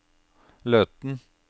Løten